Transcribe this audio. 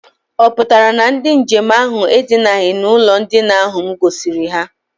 Ọ pụtara na ndị nje m ahụ edinaghị n'ụlọ ndina ahụ m gosiri ha?